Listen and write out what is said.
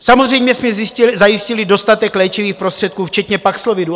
Samozřejmě jsme zajistili dostatek léčivých prostředků včetně Paxlovidu.